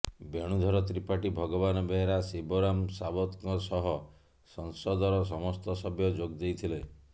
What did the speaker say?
ବେଣୁଧର ତ୍ରିପାଠୀ ଭଗବାନ ବେହେରା ଶିବରାମ ସାବତଙ୍କ ସହ ସଂସଦର ସମସ୍ତ ସଭ୍ୟ ଯୋଗ ଦେଇଥିଲେ